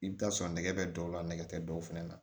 I bɛ t'a sɔrɔ nɛgɛ bɛ dɔw la nɛgɛ tɛ dɔw fɛnɛ na